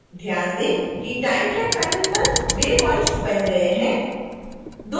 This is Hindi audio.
ध्यान दें कि time track panel पर waypoints बन गए हैं